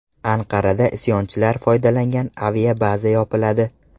Anqarada isyonchilar foydalangan aviabaza yopiladi.